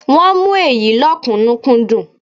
Wọ́n ń mú èyí lọ́kùnúnkúndun